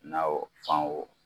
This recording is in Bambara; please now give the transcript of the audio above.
Na o fan o